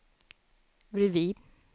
bredvid